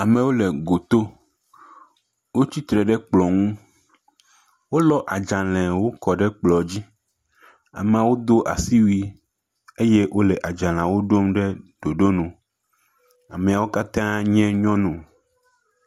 Amewo le goto, wotsi tre ɖe kplɔn ŋu, wolɔ adzalewo kɔ ɖe kplɔ. Ameawo ɖɔ asiwui eye wole adzaleawo ɖom ɖe ɖoɖo nu, ameawo katã nye nyɔnu.